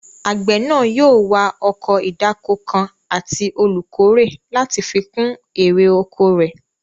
Àgbẹ̀ náà yóò wá ọkọ̀ ìdáko kan àti olùkórè láti fi kún èrè oko rẹ̀